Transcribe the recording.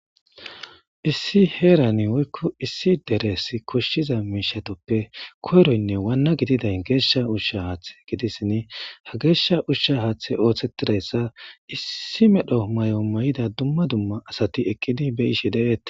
Issi heras koshiza mishatappe koyronne Wanay gesha usha hathe gidishn ha gesha hathe othetidayasa issi medho mayo mayida dumma asat ekid beyishe detes.